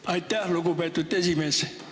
Aitäh, lugupeetud esimees!